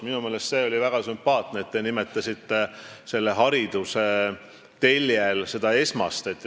Minu meelest see oli väga sümpaatne, et te nimetasite hariduse telge, seda esmast.